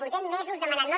portem mesos demanant ho